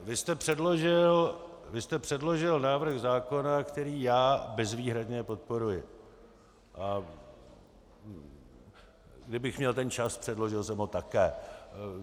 Vy jste předložil návrh zákona, který já bezvýhradně podporuji, a kdybych měl ten čas, předložil bych ho také.